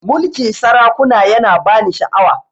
Mulkin sarakuna ya na ba ni sha'awa